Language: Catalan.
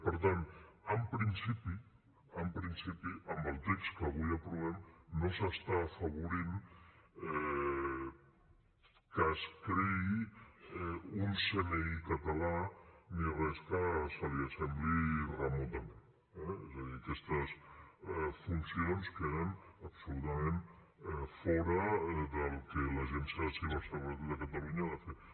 per tant en principi en principi amb el text que avui aprovem no s’està afavorint que es creï un cni català ni res que se li assembli remotament eh és a dir aquestes funcions queden absolutament fora del que l’agència de ciberseguretat de catalunya ha de fer